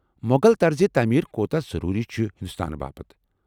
مۄغل طرز تعمیٖر کوتاہ ضروٗری چھٗ ہندوستانہٕ باپت ؟